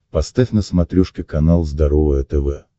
поставь на смотрешке канал здоровое тв